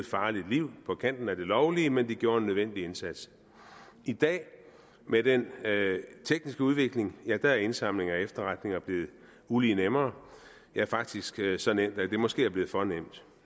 farligt liv på kanten af det lovlige men de gjorde en nødvendig indsats i dag med den tekniske udvikling er indsamling af efterretninger blevet ulig nemmere ja faktisk så nemt at det måske er blevet for nemt